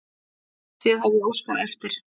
Þið hafið óskað eftir.